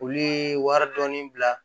U ye wari dɔɔni bila